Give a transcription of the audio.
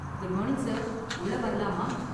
Good morning sir, உள்ள வரலாமா?